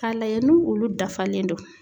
K'a lajɛ nu olu dafalen do.